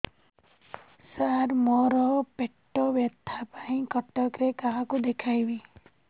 ସାର ମୋ ର ପେଟ ବ୍ୟଥା ପାଇଁ କଟକରେ କାହାକୁ ଦେଖେଇବି